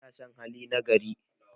ana San hali na gari